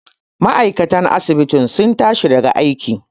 ma'aikatan asibitin sun tashi daga aiki